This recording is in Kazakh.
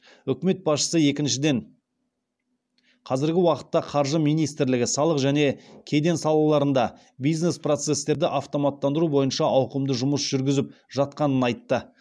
үкімет басшысы екіншіден қазіргі уақытта қаржы министрлігі салық және кеден салаларында бизнес процестерді автоматтандыру бойынша ауқымды жұмыс жүргізіп жатқанын айтты